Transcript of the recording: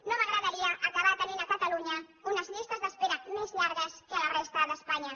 no m’agradaria acabar tenint a catalunya unes llistes d’espera més llargues que a la resta d’espanya